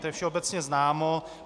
To je všeobecně známo.